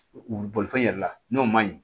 U bolifɛn yɛrɛ la n'o ma ɲi